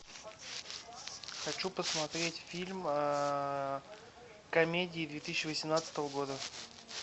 хочу посмотреть фильм комедии две тысячи восемнадцатого года